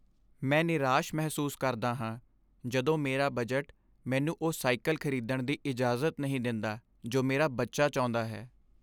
ਮੈਂ ਨਿਰਾਸ਼ ਮਹਿਸੂਸ ਕਰਦਾ ਹਾਂ ਜਦੋਂ ਮੇਰਾ ਬਜਟ ਮੈਨੂੰ ਉਹ ਸਾਈਕਲ ਖਰੀਦਣ ਦੀ ਇਜਾਜ਼ਤ ਨਹੀਂ ਦਿੰਦਾ ਜੋ ਮੇਰਾ ਬੱਚਾ ਚਾਹੁੰਦਾ ਹੈ।